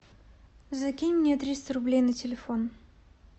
закинь мне триста рублей на телефон